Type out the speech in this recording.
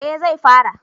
Eh zai fara